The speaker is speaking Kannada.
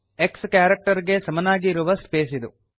x ಕ್ಯಾರೆಕ್ಟರ್ ಗೆ ಸಮನಾಗಿ ಇರುವ ಸ್ಪೇಸ್ ಇದು